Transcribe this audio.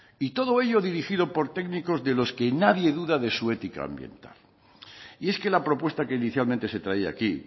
y todo ello dirigido por técnicos de los que nadie duda de su ética ambiental y es que la propuesta que inicialmente se traía aquí